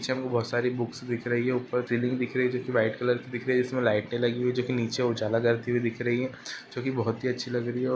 पीछे हमे बहुत सारी बुक्स दिख रही है ऊपर सीलिंग दिख रही है जोकि व्हाइट कलर की दिख रही है जिसमे लाइटे लगी हुई हैं जो नीचे उजाला करती हुई दिख रही है जोकि बहुत ही अच्छी लग रही है और --